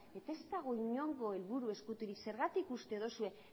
eta ez dago inongo helburu ezkuturik zergatik uste duzu